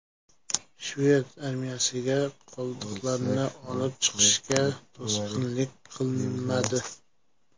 Shved armiyasiga qoldiqlarni olib chiqishga to‘sqinlik qilinmadi.